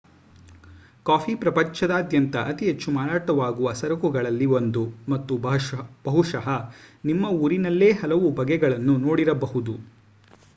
coffee ಪ್ರಪಂಚದಾದ್ಯಂತ ಅತಿ ಹೆಚ್ಚು ಮಾರಾಟವಾಗುವ ಸರಕುಗಳಲ್ಲಿ ಒಂದು ಮತ್ತು ಬಹುಶಃ ನಿಮ್ಮ ಊರಿನಲ್ಲೇ ಹಲವು ಬಗೆಗಳನ್ನು ನೋಡಿರಬಹುದು